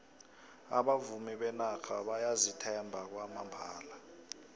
abavumi benarha bayazithemba kwamambala